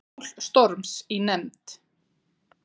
Mál Storms í nefnd